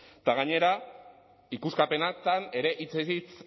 eta gainera ikuskapenetan ere hitzez hitz